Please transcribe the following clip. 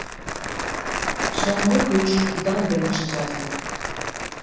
соңғы көш бұдан бірінші жазылды